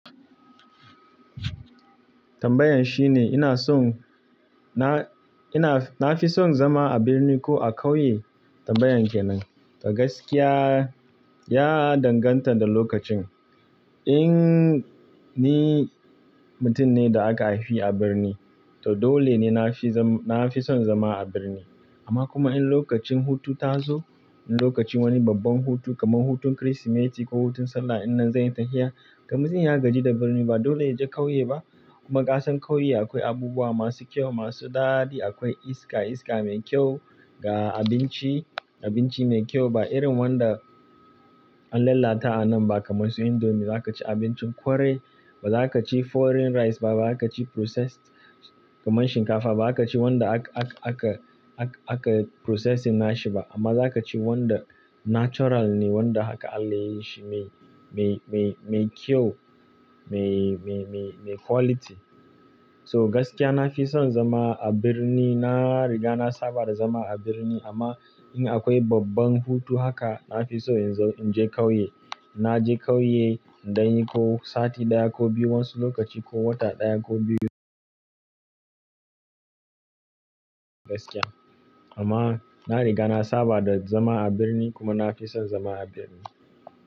Tambayan shine ina son na, ina, na fi son zama a birni ko a ƙauye? Tambayan kenan. A gaskiya, ya danganta da lokacin. In ni mutum ne da aka haifi a birni, to dole ne na fi zam, na fi son zama a birni. Amma kuma in lokacin hutu ta zo, in lokacin wani babban hutu kamar hutun Kirsimeti ko hutun Sallah, in idan zan yi tafiya, to muzi ya gaji da birni ba dole ya je ƙauye ba. Kuma ƙasan ƙauye akwai abubuwa masu kyau, masu daɗi, akwai iska, iska mai kyau ga abinci, abinci mai kyau ba irin wanda an lalata a nan ba kamar su indomi, za ka ci abincin ƙwarai, ba za ka ci foreign rice ba, ba za ka ci processed kamar shinkafa ba, ba za ka ci wanda aka, aka, aka, aka processing nashi ba, amma za ka ci wanda natural ne, wanda haka Allah yayi shi mai, mai, mai, mai kyau, mai, mai, mai, mai quality. So gaskiya na fi son zama a birni, na riga na saba da zama a birni amma in akwai babban hutu haka, na fi so in zo, in je ƙauye. Na je ƙauye in danyi ko sati ɗaya ko biyu wansu lokaci ko wata ɗaya ko biyu. Gaskiya. Amma na riga na saba da zama a birni kuma na fi son zama a birni.